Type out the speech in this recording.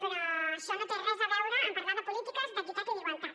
però això no té res a veure amb parlar de polítiques d’equitat i d’igualtat